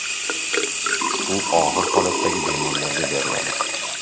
U og‘ir holatdagi bemorlarga beriladi.